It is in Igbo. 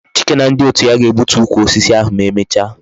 Chike na ndi otu ya ga-egbutu ukwu osisi ahu emecha